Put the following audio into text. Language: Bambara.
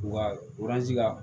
Wa ka